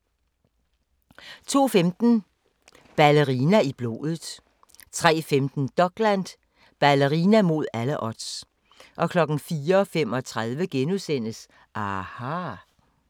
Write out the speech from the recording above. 02:15: Ballerina i blodet 03:15: Dokland: Ballerina mod alle odds 04:35: aHA! *